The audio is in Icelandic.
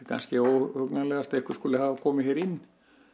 kannski óhugnanlegast að einhver skuli hafa komið hér inn